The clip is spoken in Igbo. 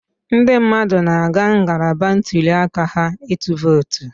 Ndị mmadụ na-aga ngalaba ntuli aka ha ịtụ vootu